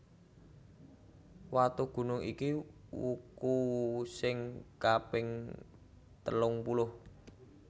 Watugunung iku wuku sing kaping telungpuluh